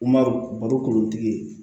Marɔku baro kolontigi ye